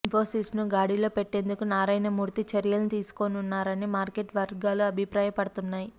ఇన్పోసిస్ను గాడిలో పెట్టేందుకు నారాయణమూర్తి చర్యలను తీసుకోనున్నారని మార్కెట్ వర్గాలు అభిప్రాయపడుతున్నాయి